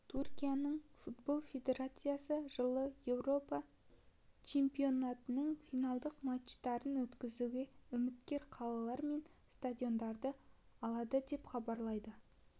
түркияның футбол федерациясы жылы еуропа чемпионатының финалдық матчтарын өткізуге үміткер қалалар мен стадиондарды атады деп хабарлайды